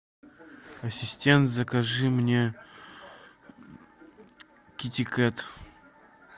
ассистент закажи мне китикет